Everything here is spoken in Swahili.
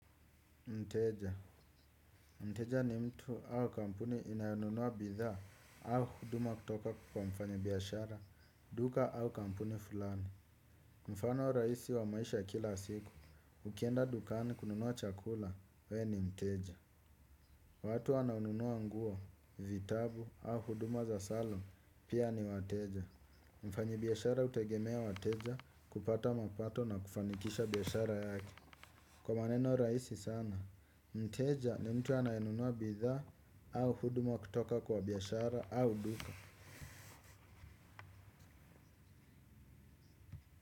Mteja. Mteja ni mtu au kampuni inayonunua bidhaa au huduma kutoka kwa mfanyi biashara, duka au kampuni fulani. Mfano raisi wa maisha kila siku, ukienda dukani kununua chakula, we ni mteja. Watu wanaonunua nguo, vitabu au huduma za salon, pia ni wateja. Mfanyi biashara utegemea wateja kupata mapato na kufanikisha biashara yake. Kwa maneno raisi sana, mteja ni mtu anaenunua bidhaa au huduma kutoka kwa biashara au duka.